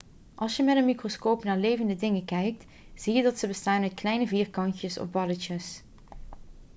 als je met een microscoop naar levende dingen kijkt zie je dat ze bestaan uit kleine vierkantjes of balletjes